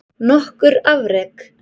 Nokkur afrek